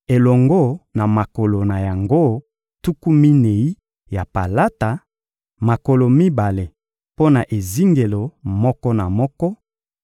elongo na makolo na yango tuku minei ya palata: makolo mibale mpo na ezingelo moko na moko;